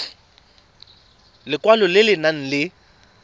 lekwalo le le nang le